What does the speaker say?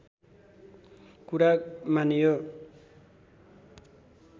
कुरा मानियो